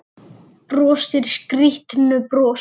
Brosir skrýtnu brosi.